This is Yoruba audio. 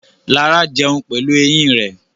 Lara jẹun pẹ̀lú eyín rẹ̀.